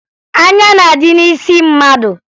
Anya na-adị n'isi mmadụ